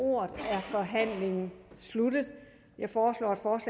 ordet er forhandlingen sluttet jeg foreslår